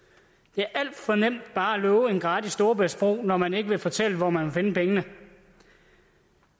det er alt for nemt bare at love en gratis storebæltsbro når man ikke vil fortælle hvor man vil finde pengene